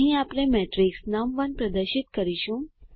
અહીં આપણે મેટ્રિક્સ નમ1 પ્રદર્શિત કરીશું